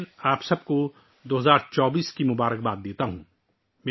ایک بار پھر، میں آپ سب کو 2024 کی نیک خواہشات پیش کرتا ہوں